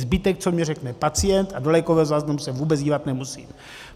Zbytek, co mi řekne pacient, a do lékového záznamu se vůbec dívat nemusím.